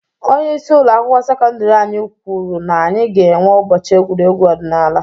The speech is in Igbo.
Onyeisi ụlọ akwụkwọ sekọndiri anyị kwuru na anyị ga enwe ụbọchị egwuregwu ọdinaala.